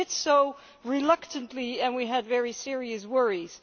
We did so reluctantly and we had very serious worries.